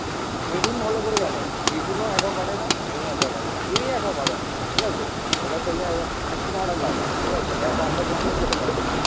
মিঠুন ভালো করে জানে. মিঠুনও একা পারে না. আমি একা পারি না. কেউই একা পারে না. ঠিক আছে? একা খেলে মানে কিরম একটা লাগে. ঠিক আছে? একা আমরা কোনদিন খেতে পারি না.